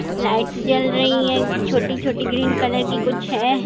Light जल रही है छोटी-छोटी ग्रीन कलर की कुछ हैं।